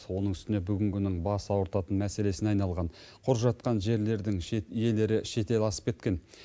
оның үстіне бүгінгінің бас ауыртатын мәселесіне айналған құр жатқан жерлердің иелері шетел асып кеткен